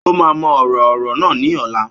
Ó máa mọ ọ̀rọ̀ ọ̀rọ̀ náà ní ọ̀la